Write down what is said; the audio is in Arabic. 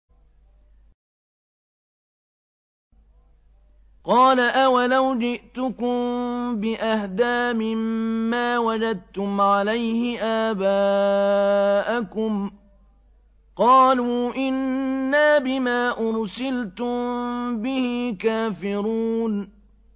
۞ قَالَ أَوَلَوْ جِئْتُكُم بِأَهْدَىٰ مِمَّا وَجَدتُّمْ عَلَيْهِ آبَاءَكُمْ ۖ قَالُوا إِنَّا بِمَا أُرْسِلْتُم بِهِ كَافِرُونَ